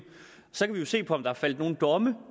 så kan vi jo se på om der er faldet nogen domme